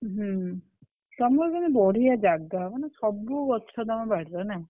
ହୁଁ ତମର କିନ୍ତୁ ବଢିଆ ଜାଗା ମାନେ ସବୁ ଗଛ ତମ ବାଡିରେ ନା?